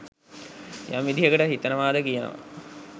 යම් විදිහකට හිතනවා ද කියනවා